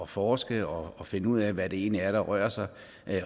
forske og og finde ud af hvad det egentlig er der rører sig